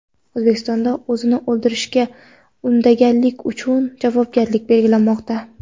O‘zbekistonda o‘zini o‘ldirishga undaganlik uchun javobgarlik belgilanmoqda.